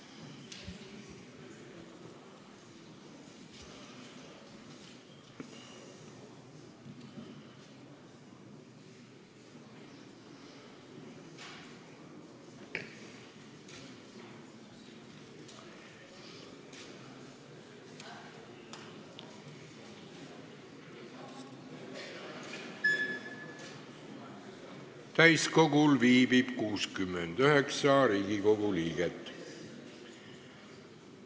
Kohaloleku kontroll Täiskogul viibib 69 Riigikogu liiget.